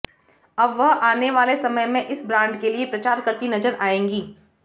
अब वह आने वाले समय में इस ब्रांड के लिए प्रचार करती नजर आएंगी